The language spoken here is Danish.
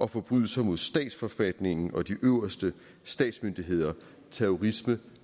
og forbrydelser mod statsforfatningen og de øverste statsmyndigheder terrorisme